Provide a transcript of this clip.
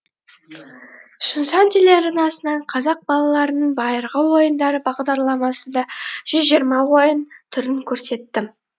шыңжаң телеарнасынан қазақ балаларының байырғы ойындары бағдарламасында жүз жиырма ойын түрін көрсеттім